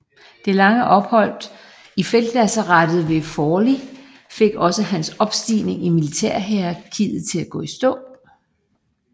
Det lange ophold i feltlazarettet ved Forli fik også hans opstigning i militærhierarkiet til at gå i stå